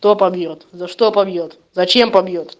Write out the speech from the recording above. кто побьёт за что побьёт зачем побьёт